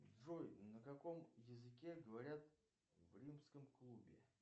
джой на каком языке говорят в римском клубе